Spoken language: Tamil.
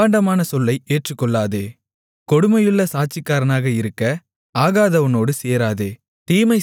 அபாண்டமான சொல்லை ஏற்றுக்கொள்ளாதே கொடுமையுள்ள சாட்சிக்காரனாக இருக்க ஆகாதவனோடு சேராதே